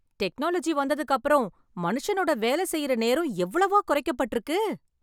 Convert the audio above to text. Technology வந்ததுக்கப்புறம் மனுஷனோட வேல செய்யுற நேரம் எவ்வளவோ குறைக்கப்பட்டிருக்கு.